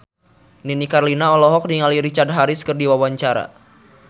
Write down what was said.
Nini Carlina olohok ningali Richard Harris keur diwawancara